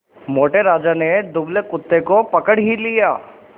मोटे राजा ने दुबले कुत्ते को पकड़ ही लिया